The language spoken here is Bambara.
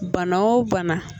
Bana o bana